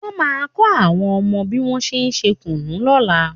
Wọ́n máa kọ́ àwọn ọmọ mi bí wọ́n ṣe ń ṣe kùnú lọ́la